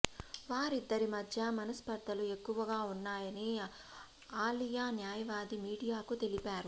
వారిద్దరి మధ్య మనస్పర్ధలు ఎక్కువగా ఉన్నాయని ఆలియా న్యాయవాది మీడియాకు తెలిపారు